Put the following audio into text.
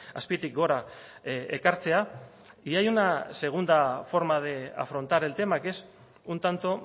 azpitik gora ekartzea y hay una segunda forma de afrontar el tema que es un tanto